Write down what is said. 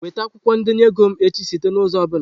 Weta akwụkwọ ndenye ego m echi site n'ụzọ ọ bụla!